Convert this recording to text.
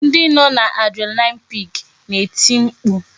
Ndị nọ n'adrenaline peak na-eti mkpu